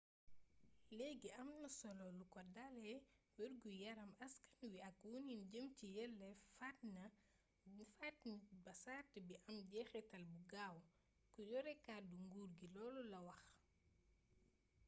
leegi am na solo lu ko dalé wergu yaaram askan wi ak wonin jëm ci yelleef faat nit ba sart bi am jexitaal bu gaaw ku yore kàddu nguur gi loolu la wax